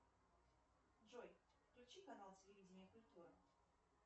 джой включи канал телевидение культура